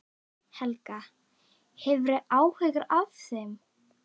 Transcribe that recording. Helga: Hefurðu áhyggjur af þeim?